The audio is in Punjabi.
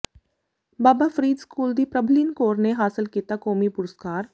ਬਾਬਾ ਫ਼ਰੀਦ ਸਕੂਲ ਦੀ ਪ੍ਰਭਲੀਨ ਕੌਰ ਨੇ ਹਾਸਲ ਕੀਤਾ ਕੌਮੀ ਪੁਰਸਕਾਰ